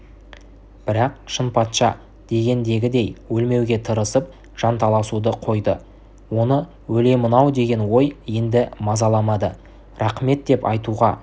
бірақ шынпатша дегендегідей өлмеуге тырысып жанталасуды қойды оны өлемін-ау деген ой енді мазаламады рақмет деп айтуға